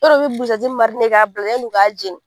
Yɔrɔ u bɛ buzɛti k'a bila yann'u ka jeni.